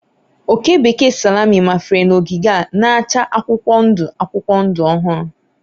Oke bekee salami mafere n'ogige a na-acha akwụkwọ ndụ akwụkwọ ndụ ọhụrụ